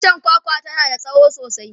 itchen kwakwa tana da tsawo sosai